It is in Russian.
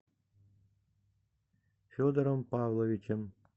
федором павловичем